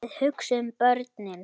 Þið hugsið um börnin.